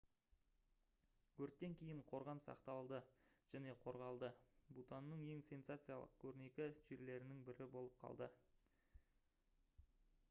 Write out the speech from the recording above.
өрттен кейін қорған сақталды және қорғалды бутанның ең сенсациялық көрнекі жерлерінің бірі болып қалды